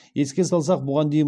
еске салсақ бұған дейін